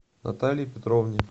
наталье петровне